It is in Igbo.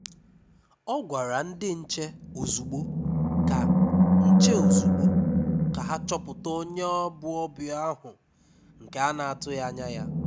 Ọ̀ gwàrà ndị nche ozùgbò ka nche ozùgbò ka ha chọpụta onye bụ onye ọbịa ahụ nke a na-atụghị anya ya.